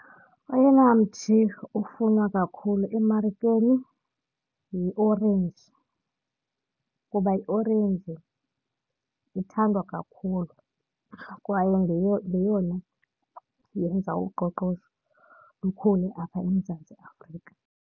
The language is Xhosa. Oyena mthi ufunwa kakhulu emarikeni yiorenji kuba iorenji ithandwa kakhulu kwaye yeyona yenza uqoqosho lukhule apha eMzantsi Afrika.